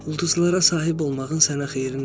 Ulduzlara sahib olmağın sənə xeyri nədir?